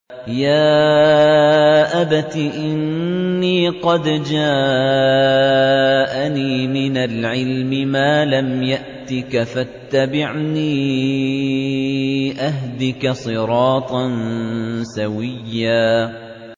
يَا أَبَتِ إِنِّي قَدْ جَاءَنِي مِنَ الْعِلْمِ مَا لَمْ يَأْتِكَ فَاتَّبِعْنِي أَهْدِكَ صِرَاطًا سَوِيًّا